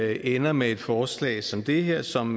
ender med et forslag som det her som